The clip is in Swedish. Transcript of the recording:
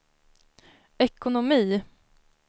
ekonomi